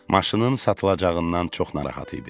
Maşının satılacağından çox narahat idim.